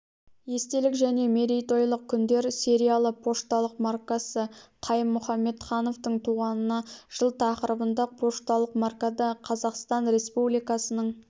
естелік және мерейтойлық күндер сериялы пошталық маркасы қайым мұхамедхановтың туғанына жыл тақырыбында пошталық маркада қазақстан республикасының